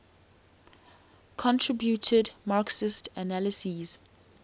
contributed marxist analyses